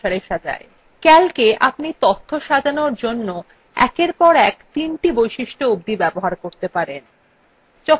calcএ আপনি তথ্য সাজানোর জন্য একের পর in তিনটি বৈশিষ্ট্য অবধি ব্যহহার করতে পারেন